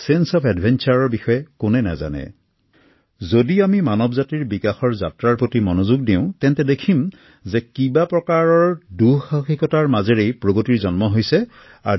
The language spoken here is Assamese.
দুঃসাহসিক অভিযানৰ অনুভৱ কাৰনো নাই যদি আমি মানৱ জাতিৰ বিকাশৰ যাত্ৰাৰ প্ৰতি মন দিও তেন্তে দেখিম যে কিবা প্ৰকাৰৰ দুঃসাহিকতাৰ মাজেৰেই প্ৰত্যেকৰ জীৱনলৈ সফলতা আহিছে